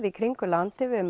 í kringum landið við